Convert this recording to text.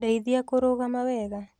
Ndeithia kũrũgama wega